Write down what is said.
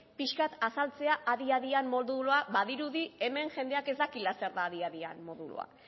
pixkat azaltzea adi adian modulua badirudi hemen jendeak ez dakiela zer den adi adian modulua